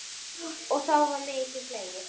Og þá var mikið hlegið.